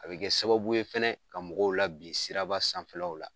A bɛ kɛ sababu ye fɛnɛ ka mɔgɔw labin siraba sanfɛlaw la.